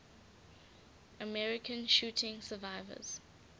american shooting survivors